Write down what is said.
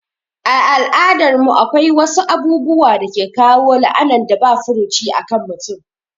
A al'adar mu akwai wasu abubuwa dake kawo la'anan da ba furuci akan mutum